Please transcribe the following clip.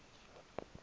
etyhini